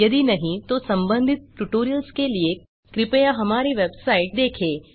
यदि नहीं तो संबंधित ट्यूटोरियल्स के लिए कृपया हमारी वेबसाइट httpspoken tutorialorg देखें